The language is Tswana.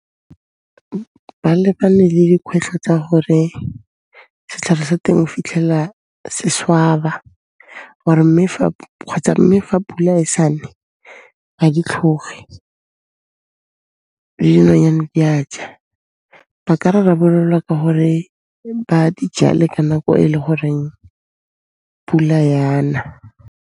Ba lebane le dikhwetlho tsa gore setlhare sa teng o fitlhela se swaba kgotsa mme fa pula e sa ne, ga di tlhoge le dinonyane di a ja. Ba ka rarabolola ka gore ba di jale ka nako e le goreng pula ya na.